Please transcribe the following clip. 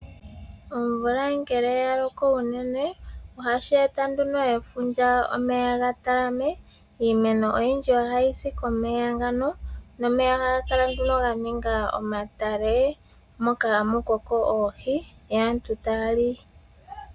Omvula ngele oyaloko uunene ohashi eta nduno efundja omeya gatalame, iimeno oyindji ohayi si komeya ngano nomeya ohagakala nduno ganinga omatale moka hamukoko oohi yo aantu taya li.